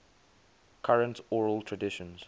current oral traditions